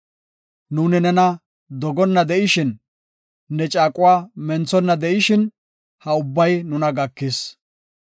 Nuuni nena dogonna de7ishin, ne caaquwa menthonna de7ishin, ha ubbay nuna gakis.